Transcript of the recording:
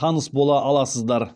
таныс бола аласыздар